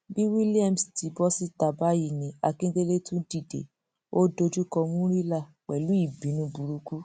bí williams ti bọ síta báyìí akindélé tún dìde ó dojúkọ murila pẹlú ìbínú burúkú